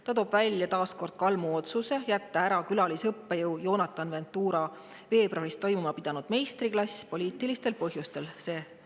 Ta tõi taas kord välja Kalmu otsuse külalisõppejõu Jonathan Ventura veebruaris toimuma pidanud meistriklass poliitilistel põhjustel ära jätta.